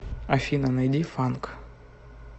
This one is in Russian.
афина найди фанк